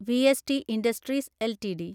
VST industries LTD